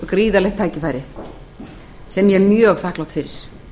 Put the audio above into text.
gríðarlegt tækifæri sem ég er mjög þakklát fyrir